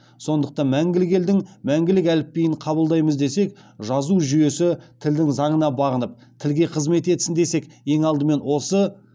сондықтан мәңгілік елдің мәңгілік әліпбиін қабылдаймыз десек жазу жүйесі тілдің заңына бағынып тілге қызмет етсін десек ең алдымен